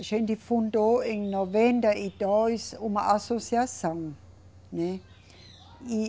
A gente fundou, em noventa e dois, uma associação, né? E